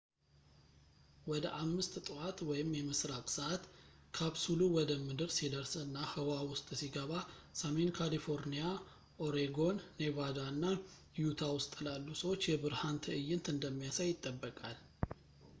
ወደ 5ጠዋት የምስራቅ ሰዓት ካፕሱሉ ወደ ምድር ሲደርስ እና ህዋ ውስጥ ሲገባ፣ ሰሜን ካሊፎርኒያ፣ ኦሬጎን፣ ኔቫዳ እና ዩታ ውስጥ ላሉ ሰዎች የብርሃን ትዕይንት እንደሚያሳይ ይጠበቃል